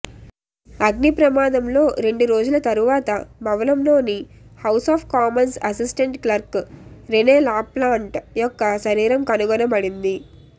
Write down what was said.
అగ్నిప్రమాదంలో రెండు రోజుల తరువాత భవనంలోని House of Commons assistant clerk Rene Laplante యొక్క శరీరం కనుగొనబడింది